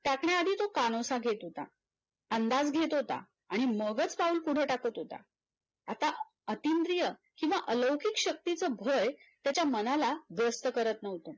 तो कानोसा घेत होता अंदाज घेत होता आणि मगच पाऊल पुढे टाकत होता आता अतींद्रिय किव्हा अलौकिक शक्तीच भय त्याच्या मनाला व्यस्त करत नव्हतं